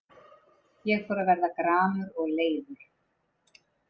Ég fór að verða gramur og leiður.